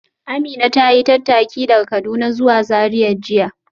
Amina ta yi tattaki daga Kaduna zuwa Zariya jiya